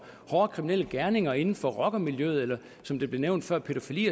hårde kriminelle gerninger inden for rockermiljøet eller som det blev nævnt før pædofili